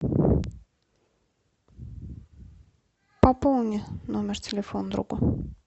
пополни номер телефона другу